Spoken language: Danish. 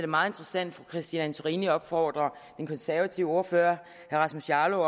meget interessant at fru christine antorini opfordrer den konservative ordfører herre rasmus jarlov